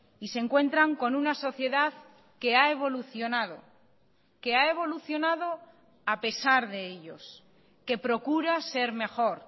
y se encuentran con una sociedad que ha evolucionado que ha evolucionado a pesar de ellos que procura ser mejor